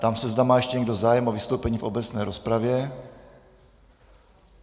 Ptám se, zda má ještě někdo zájem o vystoupení v obecné rozpravě.